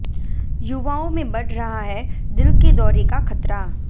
युवाओं में बढ़ रहा है दिल के दौरे का खतरा